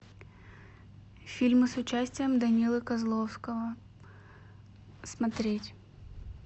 фильмы с участием данилы козловского смотреть